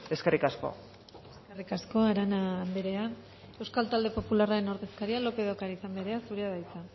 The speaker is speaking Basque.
eskerrik asko eskerrik asko arana anderea euskal talde popularren ordezkaria lópez de ocariz anderea zurea da hitza